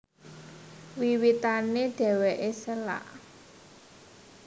Wiwitané dhèwèké sélak